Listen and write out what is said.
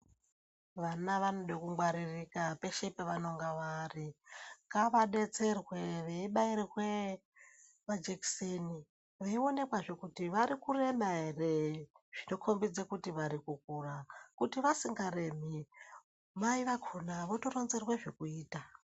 Vana vanode kungwaririka peshe pavanonga vari, ngavadetserwe vebairwe majekiseni, veionekwazve kuti vari kurema ere zvinokombidza kuti vari kukura. Kuti vasingaremi mai vakona votoronzerwa zvekuita.